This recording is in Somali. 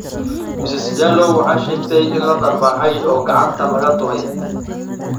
Ms Jallow waxay sheegtay in la dharbaaxay oo gacanta lagaga duray.